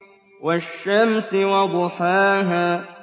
وَالشَّمْسِ وَضُحَاهَا